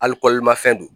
Hali kɔlimafɛn don